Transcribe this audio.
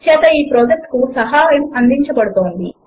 చేత ఈ ప్రాజెక్ట్ కు సహకారము అందించబడినది